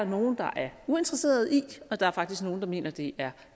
nogle der er uinteresserede i og der er faktisk nogle der mener at det er